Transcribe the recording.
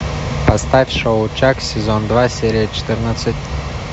поставь шоу чак сезон два серия четырнадцать